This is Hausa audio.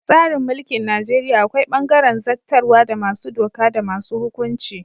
A tsarin mulkin Najeriya akwai bangaren zattarwa da masu doka da masu hukunci.